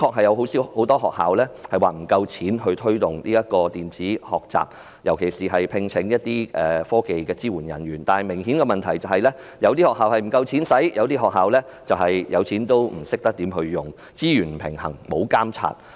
有很多學校的確不夠資金推動電子學習，尤其是聘請科技支援人員，但問題是有些學校資金不足，但有些學校則是有資金卻不懂得如何運用，資源分配不均亦沒有監察。